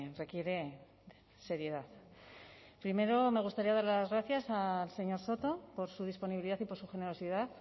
requiere seriedad primero me gustaría dar las gracias al señor soto por su disponibilidad y por su generosidad